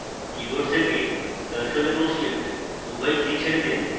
keyboard থেকে ctrl এবং shift উভয় কী ছেড়ে দিন